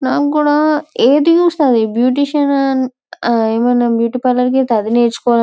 నాకు కూడా ఏది చూస్తే అది బీటీషన్ ఏమైనా బ్యూటీ పార్లోర్ వెల్తే అధి నేర్చుకోవాలని.